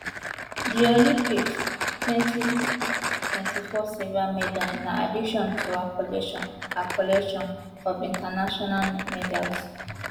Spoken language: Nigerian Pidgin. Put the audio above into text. di olympic twenty twenty four silver medal na addition to her collection her collection of international medals